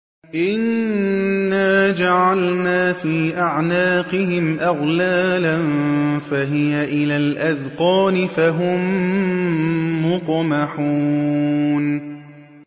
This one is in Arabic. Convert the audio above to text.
إِنَّا جَعَلْنَا فِي أَعْنَاقِهِمْ أَغْلَالًا فَهِيَ إِلَى الْأَذْقَانِ فَهُم مُّقْمَحُونَ